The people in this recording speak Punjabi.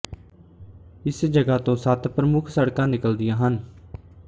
ਇਸ ਜਗ੍ਹਾ ਤੋਂ ਸੱਤ ਪ੍ਰਮੁੱਖ ਸੜਕਾਂ ਨਿਕਲਦੀਆਂ ਹਨ